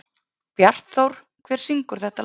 Bjartþór, hver syngur þetta lag?